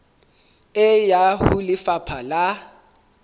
e ya ho lefapha la